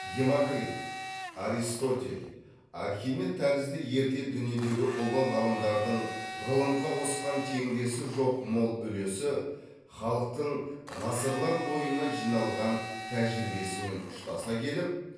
демокрит аристотель архимед тәрізді ерте дүниедегі ұлы ғалымдардың ғылымға қосқан теңдесі жоқ мол үлесі халықтың ғасырлар бойына жиналған тәжірибесімен ұштаса келіп